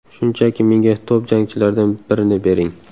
Shunchaki menga top jangchilardan birini bering.